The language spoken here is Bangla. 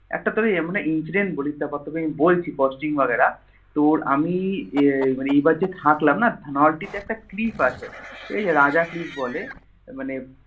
একটা তোকে এমন Incident বলি তারপর তোকে বলছি Costing বাগেরা তোর আমি এ মানে এবার যে থাকলাম না Dhanaulti এ একটা Cliff আছে এইযে রাজা Cliff বলে মানে